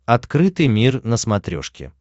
открытый мир на смотрешке